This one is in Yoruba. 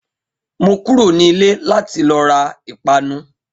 Mo kúrò ní ilẹ̀ láti lo ra Ìpanu